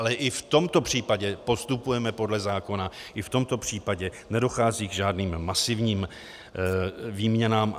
Ale i v tomto případě postupujeme podle zákona, i v tomto případě nedochází k žádným masivním výměnám.